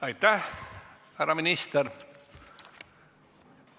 Aitäh, härra minister!